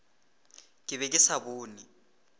ke be ke sa bone